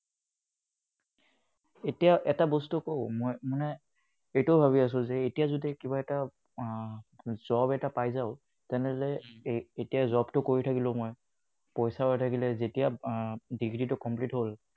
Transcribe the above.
এতিয়া এটা বস্তু মই কও মানে এইটো ভাবি আছোঁ যে এতিয়া যদি কিবা এটা আহ job এটা পাই যাও তেনেহলে এতিয়া Job টো কৰি থাকিলো হয় আহ পইছাও আহি থাকিলে হয় যেতিয়া আহ degree তো complete হল